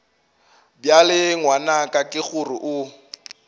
bjale ngwanaka ke gore o